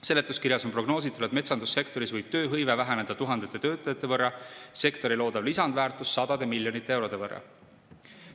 Seletuskirjas on prognoositud, et metsandussektoris võib tööhõive väheneda tuhandete töötajate võrra, sektori loodav lisandväärtus sadade miljonite eurode võrra.